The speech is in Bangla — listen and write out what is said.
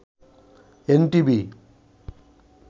এনটিভি